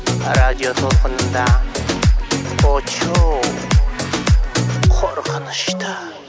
радио толқынында очоу қорқынышты